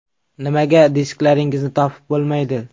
Nimaga disklaringizni topib bo‘lmaydi?